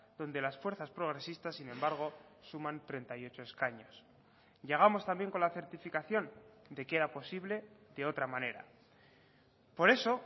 donde las fuerzas progresistas sin embargo suman treinta y ocho escaños llegamos también con la certificación de que era posible de otra manera por eso